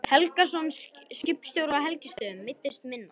Helgason, skipstjóri á Helgustöðum, meiddist minna.